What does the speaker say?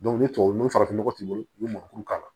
ni tubabu nɔgɔ farafin nɔgɔ t'i bolo u bɛ mɔnmuru k'a la